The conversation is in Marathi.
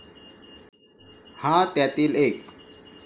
हा त्यातील एक.